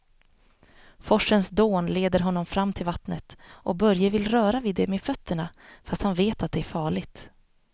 Forsens dån leder honom fram till vattnet och Börje vill röra vid det med fötterna, fast han vet att det är farligt.